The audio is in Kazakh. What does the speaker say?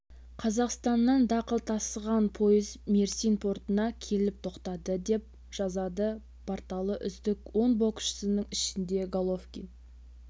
қазақстаннан дақыл тасыған пойыз мерсин портына келіп тоқтады деп жазады порталы үздік он боксшының ішінде головкин